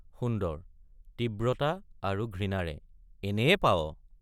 সুন্দৰ— তীব্ৰতা আৰু ঘৃণাৰে এনেয়ে পাৱ—?